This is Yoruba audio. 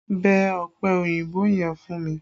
Bẹ ọ̀pẹ òyìnbó yẹn fún mi!